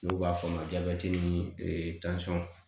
N'u b'a f'a ma ni